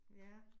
Ja